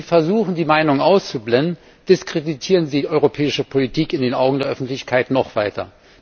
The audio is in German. Wenn Sie versuchen, die Meinungen auszublenden, diskreditieren Sie die europäische Politik in den Augen der Öffentlichkeit noch weiter.